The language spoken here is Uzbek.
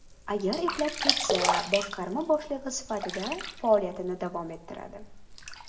Agar eplab ketsa, boshqarma boshlig‘i sifatida faoliyatini davom ettiradi.